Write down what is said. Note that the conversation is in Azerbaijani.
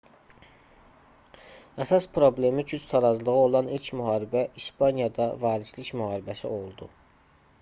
əsas problemi güc tarazlığı olan ilk müharibə i̇spaniyada varislik müharibəsi oldu